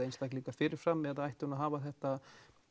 einstaklinga fyrir fram eða ætti hún að hafa þetta